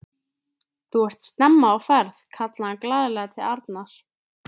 Þú ert snemma á ferð! kallaði hann glaðlega til Arnar.